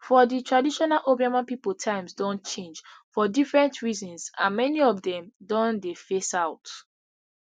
for di traditional obioma pipo times don change for different reasons and many of dem don dey phase out